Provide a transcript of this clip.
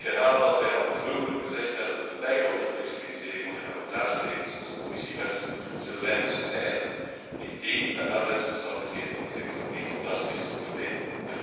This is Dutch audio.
Ik herhaal wat wij vroeger al gezegd hebben, een bijkomende flexibilisering van de cabotageregels, zoals de Commissie wenst, zullen wij bestrijden indien de arbeidsomstandigheden in de sector niet drastisch verbeteren.